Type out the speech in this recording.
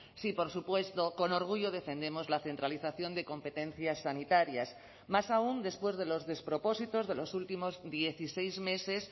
sí por supuesto con orgullo defendemos la centralización de competencias sanitarias más aún después de los despropósitos de los últimos dieciséis meses